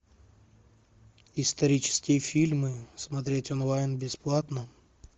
исторические фильмы смотреть онлайн бесплатно